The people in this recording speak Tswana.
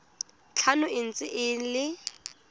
tlhano e ntse e le